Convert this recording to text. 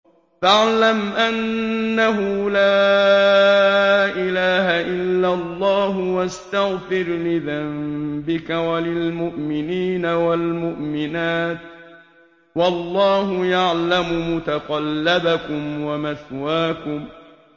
فَاعْلَمْ أَنَّهُ لَا إِلَٰهَ إِلَّا اللَّهُ وَاسْتَغْفِرْ لِذَنبِكَ وَلِلْمُؤْمِنِينَ وَالْمُؤْمِنَاتِ ۗ وَاللَّهُ يَعْلَمُ مُتَقَلَّبَكُمْ وَمَثْوَاكُمْ